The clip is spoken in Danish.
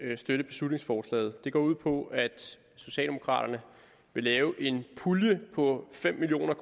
støtte beslutningsforslaget det går ud på at socialdemokraterne vil lave en pulje på fem million